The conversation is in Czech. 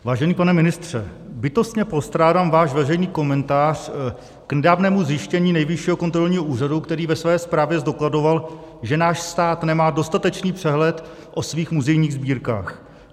Vážený pane ministře, bytostně postrádám váš veřejný komentář k nedávnému zjištění Nejvyššího kontrolního úřadu, který ve své zprávě zdokladoval, že náš stát nemá dostatečný přehled o svých muzejních sbírkách.